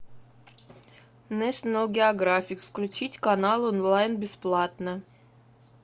нэшнл географик включить канал онлайн бесплатно